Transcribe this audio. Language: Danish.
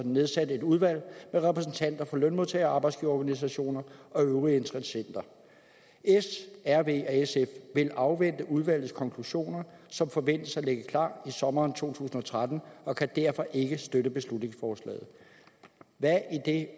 nedsat et udvalg med repræsentanter for lønmodtager og arbejdsgiverorganisationer og øvrige interessenter s rv og sf vil afvente udvalgets konklusioner som forventes at ligge klar i sommeren to tusind og tretten og kan derfor ikke støtte beslutningsforslaget hvad er det